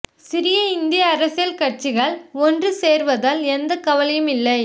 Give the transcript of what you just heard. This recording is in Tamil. சிறிய இந்திய அரசியல் கட்சிகள் ஒன்று சேர்வதால் எந்த கவலையும் இல்லை